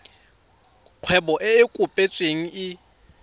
kgwebo e e kopetsweng e